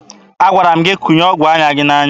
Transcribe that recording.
Agwara m gị tụnye ọgụ anya gị n'anya!